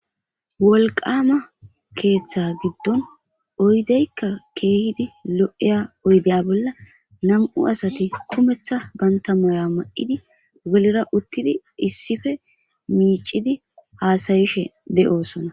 Wolqama keeththa giddon oydeykka keehidi lo'eya oydeya bolla nam'u asati kumetha bantamaya ma'idi gelira uttidi issife miicidi haasayishe de'osona.